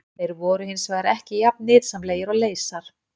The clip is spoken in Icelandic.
Þeir voru hins vegar ekki jafn nytsamlegir og leysar.